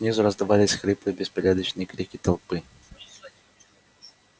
снизу раздавались хриплые беспорядочные крики толпы